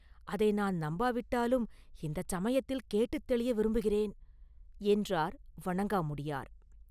அதை நான் நம்பாவிட்டாலும் இந்தச் சமயத்தில் கேட்டுத் தெளிய விரும்புகிறேன்!” என்றார் வணங்காமுடியார்.